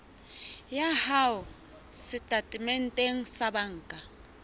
ya hao setatementeng sa banka